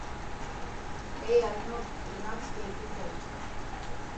эй арнольд тринадцатый эпизод